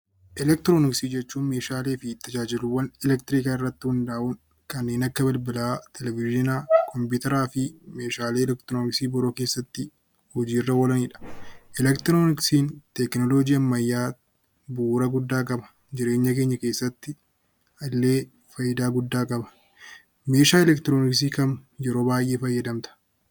Eleektirooniksii jechuun Meeshaalee fi tajaajilaawwan eleektirooniksii irratti hundaa'uun kanneen akka bilbilaa, televizyiinaa fi kompiitara Meeshaalee eleektirooniksii biroo keessatti hojii irra oolanidha. Eleektirooniksiin tekinooloojii ammayyaa bu'uura guddaa qaba. Jireenya keenya keessatti illee fayidaa guddaa qaba. Meeshaa eleektirooniksii kam yeroo baayyee fayyadamta?